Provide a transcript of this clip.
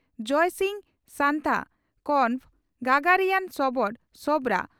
ᱡᱚᱭᱥᱤᱝ ᱥᱟᱱᱛᱟ (ᱠᱚᱱᱵᱷᱚ) ᱜᱟᱜᱟᱨᱤᱭᱟᱱ ᱥᱚᱵᱚᱨ (ᱥᱚᱣᱨᱟ)